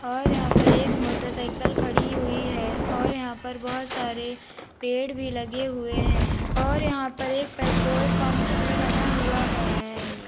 और यहां पर एक मोटरसाइकल खड़ी हुई है और यहां पर बहोत सारे पेड़ भी लगे हुए हैं और यहां पर एक पेट्रोल पंप भी बना हुआ है।